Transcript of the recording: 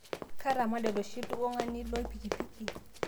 Ketamade loshi ltung'ani loipikipiki